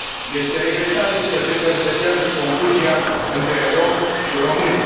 Este regretabil că se perpetuează confuzia între romi și români.